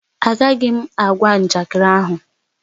Agaghị m agwa njakịrị ahụ